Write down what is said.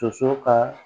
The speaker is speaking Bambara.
Soso ka